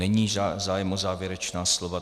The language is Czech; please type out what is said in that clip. Není zájem o závěrečná slova.